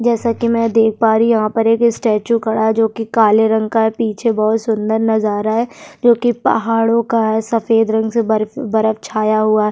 जैसा कि मैं देख पा रही है यहाँ पर एक स्टैचू खड़ा है जो कि काले रंग का है पीछे बहुत सुंदर नजारा है जो कि पहाड़ों का है सफेद रंग से बर्फ-बर्फ छाया हुआ --